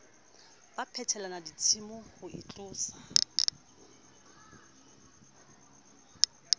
ba phetelana ditshomo ho itlosa